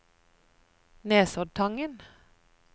Nesoddtangen